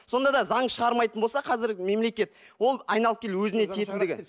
сонда да заң шығармайтын болса қазір мемлекет ол айналып келіп өзіне тиетіндігі